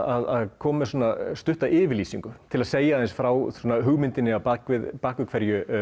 að koma með stutta yfirlýsingu til að segja aðeins frá hugmyndinni að baki hverju